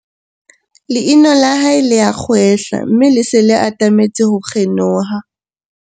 leino la hae le a kgwehla mme le se le atametse ho kgenoha